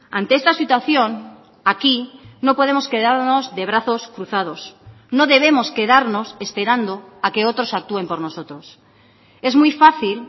ante esta situación aquí no podemos quedarnos de brazos cruzados no debemos quedarnos esperando a que otros actúen por nosotros es muy fácil